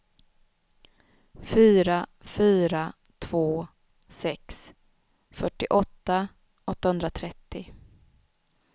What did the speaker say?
fyra fyra två sex fyrtioåtta åttahundratrettio